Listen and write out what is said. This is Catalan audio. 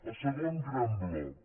el segon gran bloc